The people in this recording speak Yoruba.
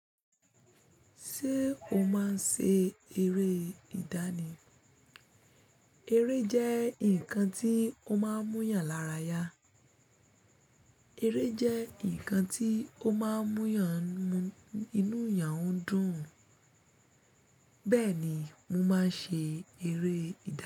Ṣé o máa ń ṣe eré ìdánì? Eré jẹ́ nǹkan tí ó máa ń múyàn lára ya, eré jẹ́ nǹkan tí ó máa ń mú eeyàn mú inú èèyàn dùn, bẹ́ẹ̀ ni mo máa ń ṣe eré ìdá